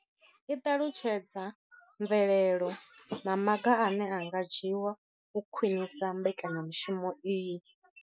I ṱalutshedza mvelelo na maga ane a nga dzhiwa u khwinisa mbekanyamushumo iyi.